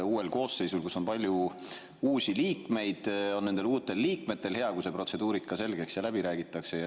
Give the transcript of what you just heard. Uues koosseisus on palju uusi liikmeid ja ma arvan, et nendel uutel liikmetel on hea, kui see protseduurika selgeks räägitakse.